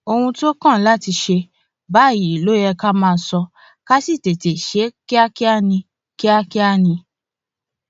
ohun tó kàn láti ṣe báyìí ló yẹ ká máa sọ ká sì tètè ṣe é kíákíá ni kíákíá ni